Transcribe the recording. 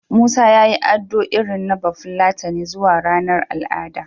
Musa ya yi ado irin na Bafulatani zuwa ranar al'ada.